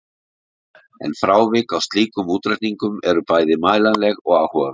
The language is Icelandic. En frávik frá slíkum útreikningum eru bæði mælanleg og áhugaverð.